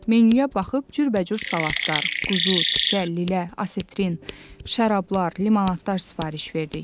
Menyuya baxıb cürbəcür salatlar, quzu, tikə, lilə, asetrin, şərablar, limonadlar sifariş verdik.